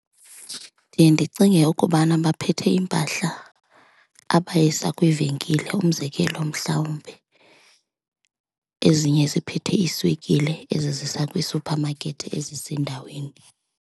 Ndiye ndicinge ukubana baphethe iimpahla abayisa kwiivenkile, umzekelo mhlawumbi ezinye ziphethe iswekile ezizisa kwisuphamakethi ezisendaweni.